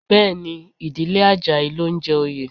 Bẹ́ẹ̀ ni, ìdílé Àjàyí ló ń jẹ oyè